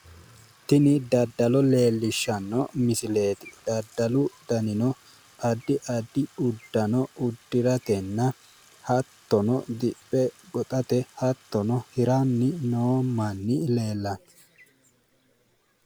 tini daddalo leellishshanno misileeti daddalu danino addi addi uddano uddiratenna hattono diphe goxate hattono hiranni noo manni leellanno.